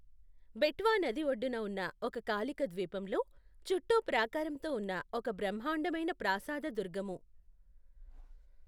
బెట్వా నది ఒడ్డున ఉన్న ఒక కాలిక ద్వీపంలో, చుట్టూ ప్రాకారంతో ఉన్న ఒక బ్రహ్మాండమైన ప్రాసాద దుర్గము.